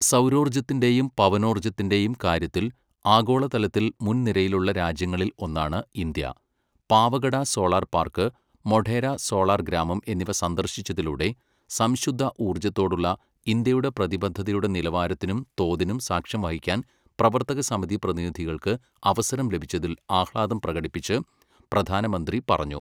സൗരോർജത്തിന്റെയും പവനോർജത്തിന്റെയും കാര്യത്തിൽ ആഗോളതലത്തിൽ മുൻനിരയിലുള്ള രാജ്യങ്ങളിൽ ഒന്നാണ് India Pavagada solar park, Modhera solar ഗ്രാമം എന്നിവ സന്ദർശിച്ചതിലൂടെ സംശുദ്ധ ഊർജത്തോടുള്ള ഇന്ത്യയുടെ പ്രതിബദ്ധതയുടെ നിലവാരത്തിനും തോതിനും സാക്ഷ്യം വഹിക്കാൻ പ്രവർത്തകസമിതി പ്രതിനിധികൾക്ക് അവസരം ലഭിച്ചതിൽ ആഹ്ലാദം പ്രകടിപ്പിച്ച് പ്രധാനമന്ത്രി പറഞ്ഞു.